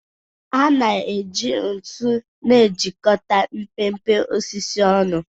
A na-eji ntu na-ejikọta mpempe osisi ọnụ.